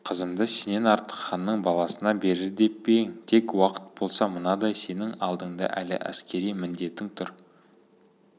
қызымды сенен артық ханның баласына берер деп пе ең тек уақыт болса мынадай сенің алдыңда әлі әскери міндетің тұр